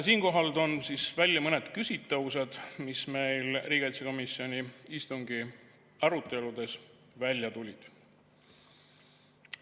Siinkohal toon välja mõned küsitavused, mis meil riigikaitsekomisjoni istungi aruteludes välja tulid.